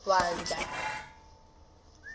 vandla